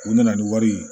U nana ni wari ye